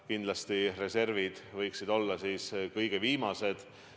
Kindlasti reservid võiksid olla kõige viimased.